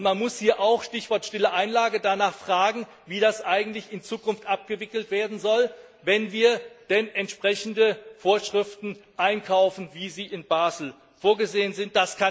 Man muss hier auch Stichwort stille Einlage danach fragen, wie das eigentlich in Zukunft abgewickelt werden soll, wenn wir entsprechende Vorschriften einkaufen, wie sie in Basel vorgesehen sind.